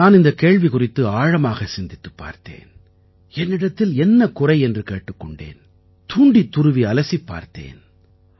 நான் இந்தக் கேள்வி குறித்து ஆழமாக சிந்தித்துப் பார்த்தேன் என்னிடத்தில் என்ன குறை என்று கேட்டுக் கொண்டேன் தூண்டித் துருவி அலசிப் பார்த்தேன்